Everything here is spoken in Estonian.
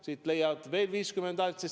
Siit leiad veel 50 häält.